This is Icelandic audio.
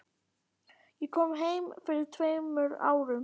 Ég kom heim fyrir tveimur árum.